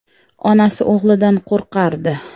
Onasi o‘g‘lidan qo‘rqardi.